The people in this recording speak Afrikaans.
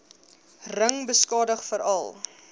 ring beskadig veral